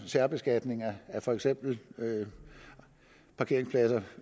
særbeskatning af for eksempel parkeringspladser